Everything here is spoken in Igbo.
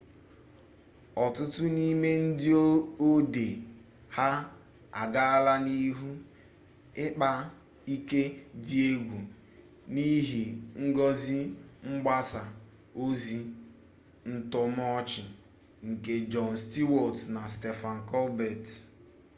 ọtụtụ n'ime ndị odee ha agaala n'ihu ịkpa ike di egwu n'ihe ngosi mgbasa ọzi ntọrọmọchị nke jon stewart na stephen colbert